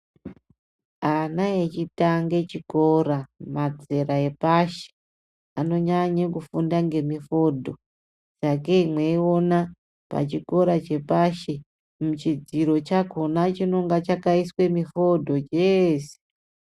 Ana echitanga chikora mazera epashi. Anonyanya kufunda ngemifodho. Sakei mweiona pachikora chepashi muchidziro chakhona chinenge chakaiswa mifodho cheese.